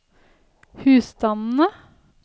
husstandene